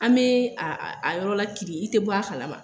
An bee a a a yɔrɔ lakirin, i te bɔ a kalama.